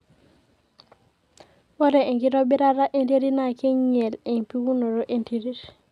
ore enkitobirata enterit naa keing'iel empikunoto e nterit